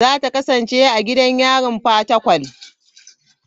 Za ta kasance a gidan yarin Fatakwal.u.